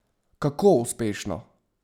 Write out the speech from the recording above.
Kako uspešno?